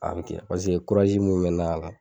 A be ten paseke kurazi min be na a la